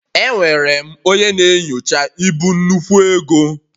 Enwere m onye na-enyocha ibu nnukwu ego